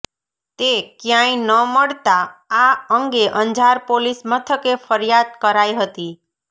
તે કયાંય ન મળતાં આ અંગે અંજાર પોલીસ મથકે ફરિયાદ કરાઈ હતી